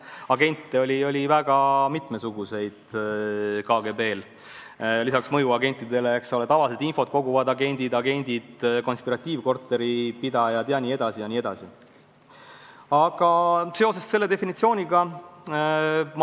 Sest agente oli KGB-l väga mitmesuguseid: lisaks mõjuagentidele tavalised infot koguvad agendid, konspiratiivkorteri pidajatest agendid jne, jne.